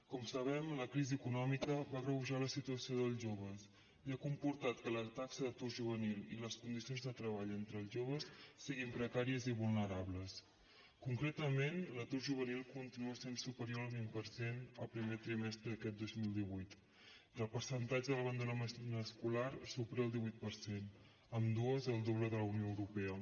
com sabem la crisi econòmica va agreujar la situació dels joves i ha comportat que la taxa d’atur juvenil i les condicions de treball entre els joves siguin precàries i vulnerables concretament l’atur juvenil continua sent superior al vint per cent el primer trimestre d’aquest dos mil divuit i el percentatge d’abandonament escolar supera el divuit per cent ambdues el doble de la unió europea